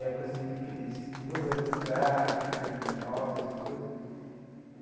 Época assim que eles se envolveram com crack né, com drogas e tudo.